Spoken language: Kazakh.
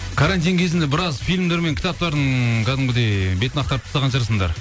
карантин кезінде біраз фильмдер мен кітаптардың кәдімгідей бетін ақтарып тастаған шығарсыңдар